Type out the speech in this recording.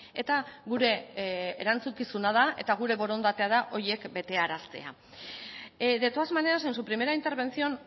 eta gure erantzukizuna da eta gure borondatea da horiek betearaztea de todas maneras en su primera intervención